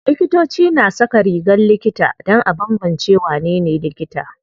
Likitoci na saka rigar likita dan a banbance wanene likita.